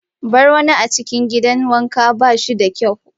Bar wani a cikin gidan wanka ba shi da kyau.